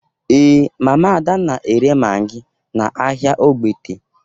Ee, Mama Ada na-ere magi n’ahịa Ogbete.